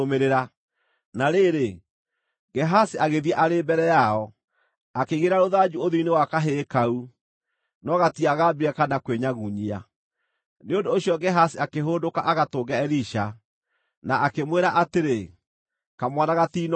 Na rĩrĩ, Gehazi agĩthiĩ arĩ mbere yao, akĩigĩrĩra rũthanju ũthiũ-inĩ wa kahĩĩ kau, no gatiagambire kana kwĩnyagunyia. Nĩ ũndũ ũcio Gehazi akĩhũndũka agatũnge Elisha, na akĩmwĩra atĩrĩ, “Kamwana gatiinokĩra.”